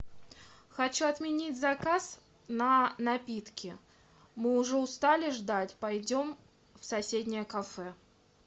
хочу отменить заказ на напитки мы уже устали ждать пойдем в соседнее кафе